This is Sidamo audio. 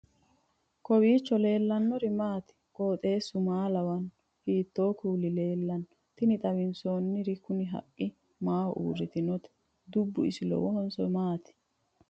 kowiicho leellannori maati ? qooxeessu maa lawaanno ? hiitoo kuuli leellanno ? tini xawissannori kuni haqqe maaho uurritinote dubbu isi lowohonso maati?